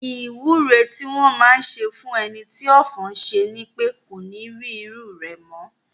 Ìwúre tí wọn máá ń ṣe fún ẹni tí ọ̀fọ̀ ṣẹ̀ ni pé kó ní rí irú rẹ̀ mọ́